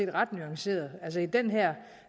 er ret nuanceret altså i den her